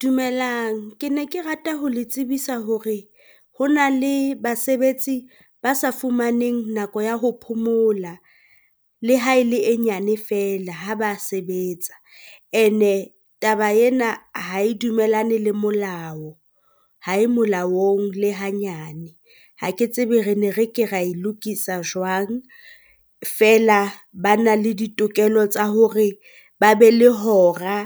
Dumelang, ke ne ke rata ho le tsebisa hore ho na le basebetsi ba sa fumaneng nako ya ho phomola, le ha e le e nyane feela ha ba sebetsa. And-e ke taba ena ha e dumellane le molao ha e molaong le hanyane, ha ke tsebe re ne re ke ra e lokisa jwang feela ba na le ditokelo tsa hore ba be le hora